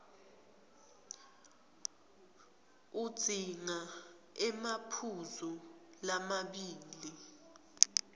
udzinga emaphuzu lamabili